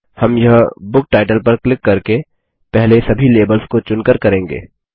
हम यह book title पर क्लिक करके पहले सभी लेबल्स को चुनकर करेंगे